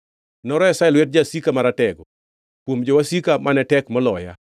Noresa e lwet jasika maratego, kuom jowasika, mane tek moloya.